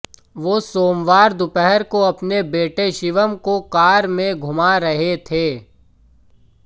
वो सोमवार दोपहर को अपने बेटे शिवम को कार में घुमा रहे थे